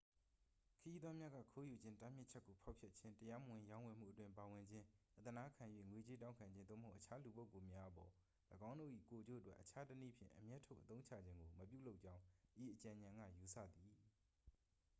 ခရီးသွားများက ခိုးယူခြင်း တားမြစ်ချက်ကို ဖောက်ဖျက်ခြင်း တရားမဝင်ရောင်းဝယ်မှုအတွင်း ပါဝင်ခြင်း အသနားခံ၍ ငွေကြေးတောင်းခံခြင်း သို့မဟုတ် အခြားလူပုဂ္ဂိုလ်များအပေါ် ၎င်းတို့၏ ကိုယ်ကျိုးအတွက် အခြားတစ်နည်းဖြင့် အမြတ်ထုတ်အသုံးချခြင်းကို မပြုလုပ်ကြောင်း ဤအကြံဉာဏ်က ယူဆသည်